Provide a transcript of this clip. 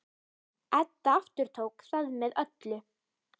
Edda aftók það með öllu.